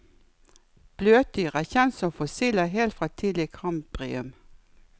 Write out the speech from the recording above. Bløtdyr er kjent som fossiler helt fra tidlig kambrium.